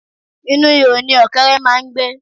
Inú ihò ni ọ̀kẹ́ré máà ń gbé.